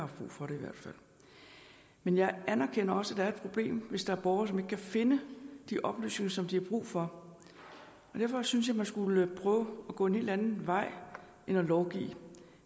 brug for det men jeg anerkender også at der er et problem hvis der er borgere som ikke kan finde de oplysninger som de har brug for derfor synes jeg man skulle prøve at gå en helt anden vej end at lovgive